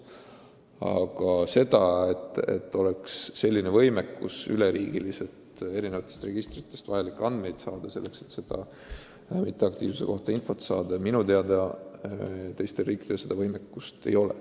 Aga seda, et üle riigi oleks võimalik eri registritest noorte mitteaktiivsuse kohta infot saada, minu teada teistes riikides ei ole.